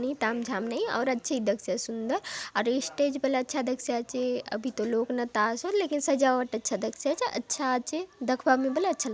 कोई ताम झाम नहीं आउर अच्छा इ ची दखसि आचे सुंदर आउर स्टेज बले अच्छा दखसि आचे अभी तो लोग नता आसोत लेकिन सजावट अच्छा दखसि आचे अच्छा आसे दखबार ने बले अच्छा लाग --